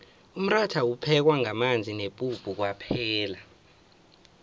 umratha uphekwa ngamanzi nepuphu kwaphela